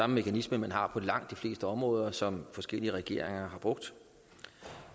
mekanisme man har på langt de fleste områder og som forskellige regeringer har brugt